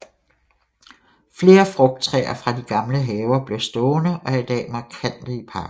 Flere frugttræer fra de gamle haver blev stående og er i dag markante i parken